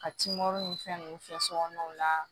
Ka kimɔri ni fɛn ninnu kɛ sokɔnɔnaw la